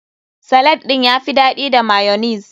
Salad ɗin ya fi daɗi da mayonnaise.